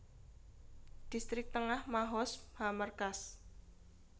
Distrik Tengah Mahoz HaMerkaz